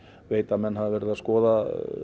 veit að menn hafa verið að skoða